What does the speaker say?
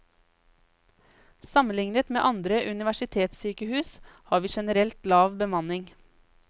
Sammenlignet med andre universitetssykehus har vi generelt lav bemanning.